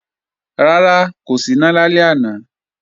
Rárá, kò síná lálẹ́ àná